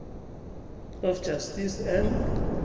of justice and